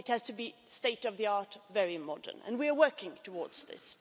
It has to be state of the art and very modern. And we are working towards this.